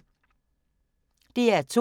DR2